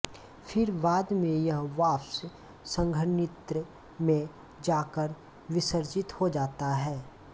फिर बाद में यह वाष्प संघनित्र में जाकर विसर्जित हो जाता है